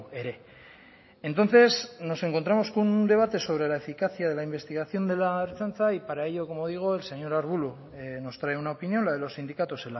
ere entonces nos encontramos con un debate sobre la eficacia de la investigación de la ertzaintza y para ello como digo el señor arbulo nos trae una opinión la de los sindicatos